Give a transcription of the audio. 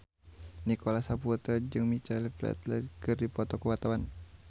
Nicholas Saputra jeung Michael Flatley keur dipoto ku wartawan